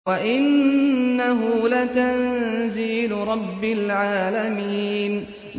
وَإِنَّهُ لَتَنزِيلُ رَبِّ الْعَالَمِينَ